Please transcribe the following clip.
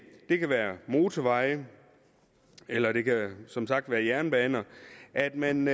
det kan være motorveje eller det kan som sagt være jernbaner at man